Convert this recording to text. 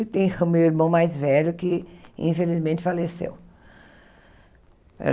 E tem o meu irmão mais velho, que infelizmente faleceu.